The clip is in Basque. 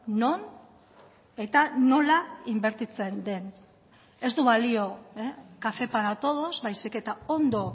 non eta nola inbertitzen den ez du balio café para todos baizik eta ondo